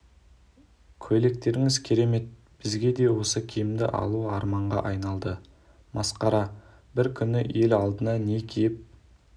көйлектеріңіз керемет бізге де осы киімді алу арманға айналды масқара бір күні ел алдына не киіп